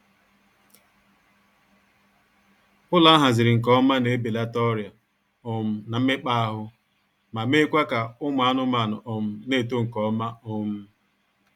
Ụlọ ahaziri nke ọma na ebelata ọrịa um na mmekpaahụ, ma meekwaa ka ụmụ anmaanụ um na-eto nkeọma um